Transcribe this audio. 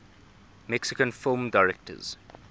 mexican film directors